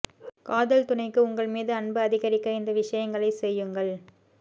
காதல் துணைக்கு உங்கள் மீது அன்பு அதிகரிக்க இந்த விஷயங்களைச் செய்யுங்கள்